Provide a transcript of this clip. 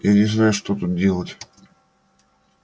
я не знаю что тут делать